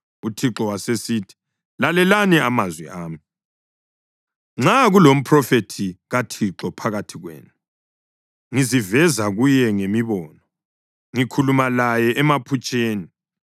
uThixo wasesithi, “Lalelani amazwi ami: Nxa kulomphrofethi kaThixo phakathi kwenu, ngiziveza kuye ngemibono, ngikhuluma laye emaphutsheni.